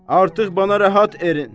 Artıq mənə rahat erin.